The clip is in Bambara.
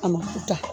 A ma ku ta